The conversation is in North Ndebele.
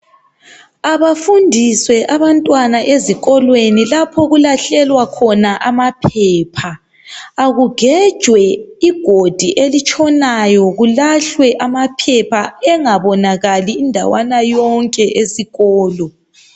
Abafundiswe abantwana ezikolweni lapho okulahlelwa khona amaphepha akugejwe igodi elitshonayo kulahlwe amaphepha engabonakali indawana yonke esikolo